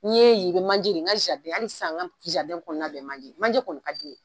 N ye ye i be manje de ye n ka jaridɛn ali sisan n jaridɛn kɔnɔna bɛɛ ye manje ye manje kɔni ka di n ye